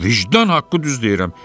Vicdan haqqı düz deyirəm.